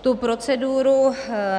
Tu proceduru